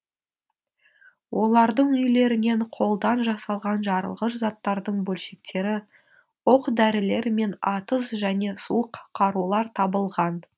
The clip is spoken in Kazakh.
олардың үйлерінен қолдан жасалған жарылғыш заттардың бөлшектері оқ дәрілер мен атыс және суық қарулар табылған